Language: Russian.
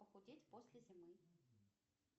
похудеть после зимы